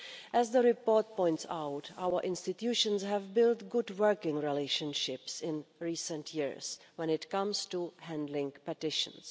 As the report points out, our institutions have built good working relationships in recent years when it comes to handling petitions.